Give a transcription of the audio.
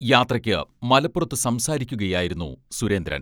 യാത്രയ്ക്ക് മലപ്പുറത്തു സംസാരിക്കുകയായിരുന്നു സുരേന്ദ്രൻ.